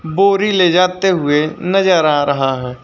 बोरी ले जाते हुए नजर आ रहा है।